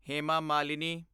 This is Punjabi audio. ਹੇਮਾ ਮਾਲਿਨੀ